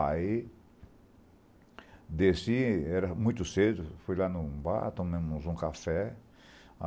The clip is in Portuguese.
Aí... Desci, era muito cedo, fui lá em um bar, tomamos um café.